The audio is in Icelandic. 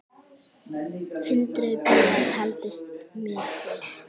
Hundruð bíla, taldist mér til!